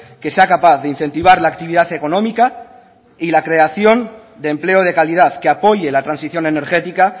que sea capaz de incentivar la actividad económica y la creación de empleo de calidad que apoye la transición energética